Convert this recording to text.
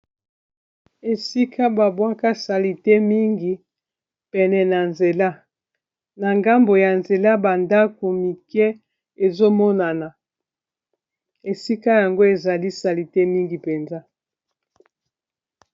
esika babwaka salite mingi pene na nzela na ngambo ya nzela bandako mike ezomonana esika yango ezali salite mingi mpenza